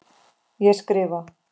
Ég skrifa.